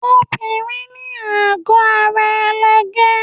Obìnrin ní àgọ́ ara ẹlẹgẹ́.